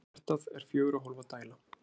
hjartað er fjögurra hólfa dæla